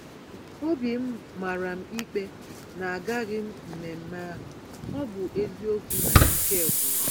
Obim màràm ikpe na agaghịm mmemmé ahụ, ọbụ eziokwu na Ike gwụrụ m.